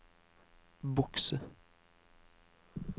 bokse